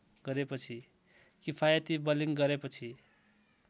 किफायती बलिङ गरेपछि